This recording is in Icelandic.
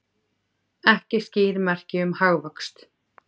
Ekki skýr merki um hagvöxt